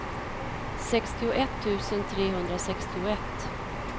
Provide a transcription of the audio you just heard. sextioett tusen trehundrasextioett